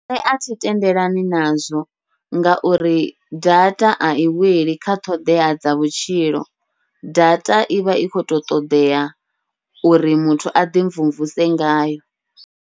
Nṋe athi tendelani nazwo, ngauri data ai wela kha ṱhoḓea dza vhutshilo data ivha i kho to ṱodea uri muthu aḓi mvumvuse ngayo.